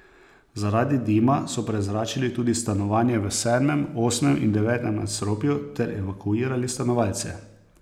Zaradi dima so prezračili tudi stanovanja v sedmem, osmem in devetem nadstropju ter evakuirali stanovalce.